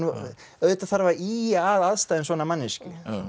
auðvitað þarf að ýja að aðstæðum svona manneskju